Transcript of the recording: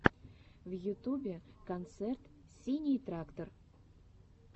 в ютубе концерт синий трактор